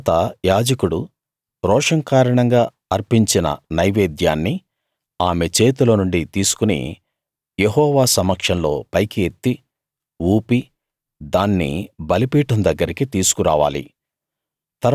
తరువాత యాజకుడు రోషం కారణంగా అర్పించిన నైవేద్యాన్ని ఆమె చేతిలోనుండి తీసుకుని యెహోవా సమక్షంలో పైకి ఎత్తి ఊపి దాన్ని బలిపీఠం దగ్గరకి తీసుకురావాలి